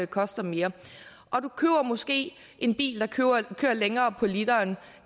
koster mere og du køber måske en bil der kører længere på literen